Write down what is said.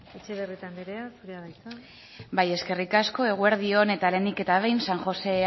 etxebarrieta anderea zurea da hitza bai eskerrik asko eguerdi on eta lehenik eta behin san josé